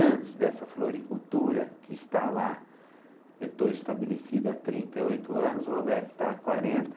Antes dessa floricultura, que está lá, eu estou estabelecido há trinta e oito anos, o Roberto está há quarenta.